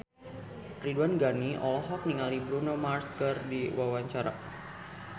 Ridwan Ghani olohok ningali Bruno Mars keur diwawancara